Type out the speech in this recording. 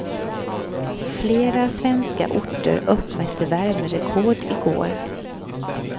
Flera svenska orter uppmätte värmerekord i går.